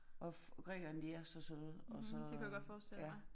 Og Grækerne de er så søde og så ja